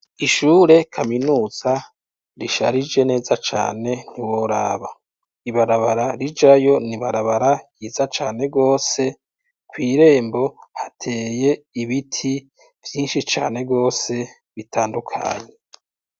Ishure kaminuza risharije neza cane ntiworaba, ibarabara rijayo n'ibarabara ryiza cane gwose kwirembo hateye ibiti vyinshi cane rwose bitandukanye.